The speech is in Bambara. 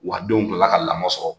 Wa denw kilala ka lamɔ sɔrɔ.